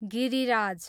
Giriraj